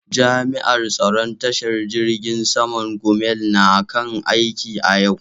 Jami'an tsaron tashar jirgin saman Gumel na kan aiki a yau.